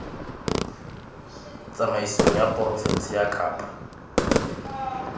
tsamaisong ya porofense ya kapa